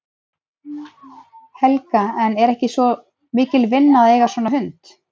Helga: En er ekki mikil vinna að eiga svona hund?